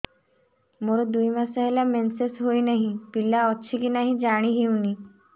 ମୋର ଦୁଇ ମାସ ହେଲା ମେନ୍ସେସ ହୋଇ ନାହିଁ ପିଲା ଅଛି କି ନାହିଁ ଜାଣି ହେଉନି